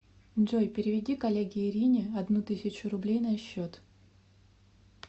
джой переведи коллеге ирине одну тысячу рублей на счет